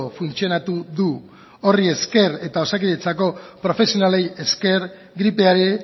funtzionatu du horri esker eta osakidetzako profesionalei esker gripeari